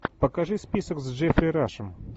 покажи список с джеффри рашем